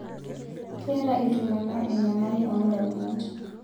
Keeta iltung'ana enyamali oo ndamunot